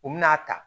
U bɛna'a ta